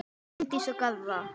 Bryndís og Garðar.